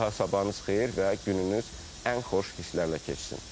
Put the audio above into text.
Bir daha sabahınız xeyir və gününüz ən xoş hisslərlə keçsin.